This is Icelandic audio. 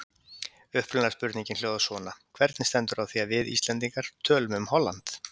Upprunalega spurningin hljóðar svona: Hvernig stendur á því að við, Íslendingar, tölum um Holland?